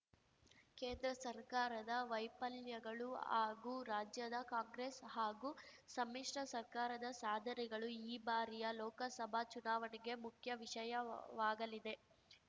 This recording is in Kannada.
ಕೇಂದ್ರ ಸರ್ಕಾರದ ವೈಫಲ್ಯಗಳು ಹಾಗೂ ರಾಜ್ಯದ ಕಾಂಗ್ರೆಸ್‌ ಹಾಗೂ ಸಮ್ಮಿಶ್ರ ಸರ್ಕಾರದ ಸಾಧನೆಗಳು ಈ ಬಾರಿಯ ಲೋಕಸಭಾ ಚುನಾವಣೆಗೆ ಮುಖ್ಯ ವಿಷಯವಾಗಲಿವೆ